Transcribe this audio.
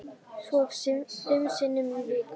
Svo fimm sinnum í viku.